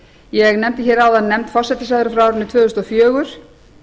ég nefndi hér áðan nefnd forsætisráðherra frá árinu tvö þúsund og fjögur